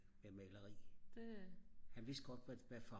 med maleri han vidste godt hvad farve